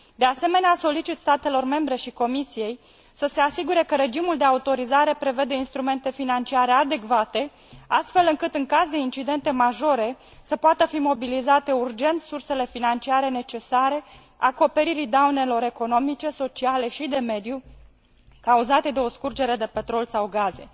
De asemenea, solicit statelor membre și Comisiei să se asigure că regimul de autorizare prevede instrumente financiare adecvate astfel încât, în caz de incidente majore, să poată fi mobilizate urgent sursele financiare necesare acoperirii daunelor economice, sociale și de mediu cauzate de o scurgere de petrol sau gaze.